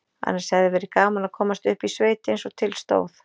Annars hefði verið gaman að komast upp í sveit eins og til stóð.